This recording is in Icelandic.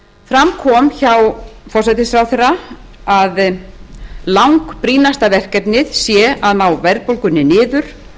fram kom hjá forsætisráðherra að langbrýnasta verkefnið sé að ná verðbólgunni niður